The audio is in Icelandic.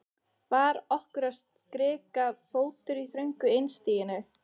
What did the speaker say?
Var okkur að skrika fótur í þröngu einstiginu?